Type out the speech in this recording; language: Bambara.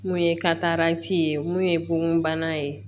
Mun ye kataranti ye mun ye bon bana ye